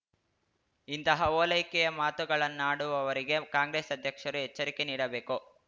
ಇಂತಹ ಓಲೈಕೆಯ ಮಾತುಗಳನ್ನಾಡುವವರಿಗೆ ಕಾಂಗ್ರೆಸ್‌ ಅಧ್ಯಕ್ಷರು ಎಚ್ಚರಿಕೆ ನೀಡಬೇಕು